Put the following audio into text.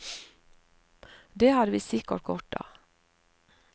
Det hadde vi sikkert godt av.